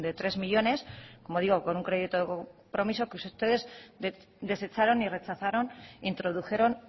tres millónes como digo con un crédito de compromiso que ustedes desecharon y rechazaron e introdujeron